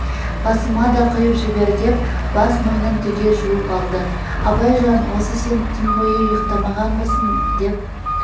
басыма да құйып жібер деп бас-мойнын түгел жуып алды абайжан осы сен түн бойы ұйықтамағанбысың деп